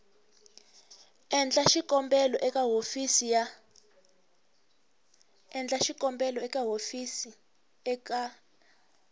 endla xikombelo eka hofisi ya